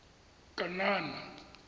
kanana